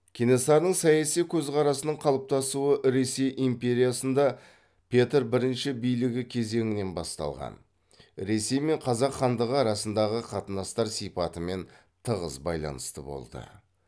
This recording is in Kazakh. кенесарының саяси көзқарасының қалыптасуы ресей империясында петр бірінші билігі кезеңінен басталған ресей мен қазақ хандығы арасындағы қатынастар сипатымен тығыз байланысты болды